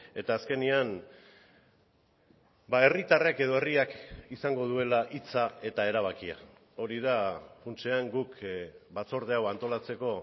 eta azkenean herritarrek edo herriak izango duela hitza eta erabakia hori da funtsean guk batzorde hau antolatzeko